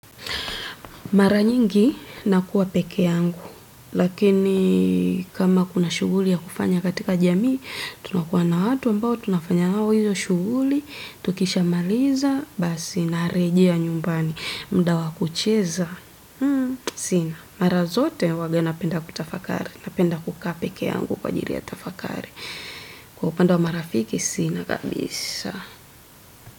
Mara nyingi nakuwa peke yangu, lakini kama kuna shughuli ya kufanya katika jamii, tunakuwa na atu ambao tunafanya nao hiyo shughuli, tukisha maliza, basi na rejea nyumbani, muda wa kucheza. Sina, mara zote huwanga napenda kutafakari, na penda kukaa pekee yangu kwa ajiri ya tafakari. Kwa upande wa marafiki, sina kabisa.